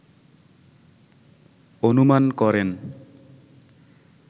অনুমান করেন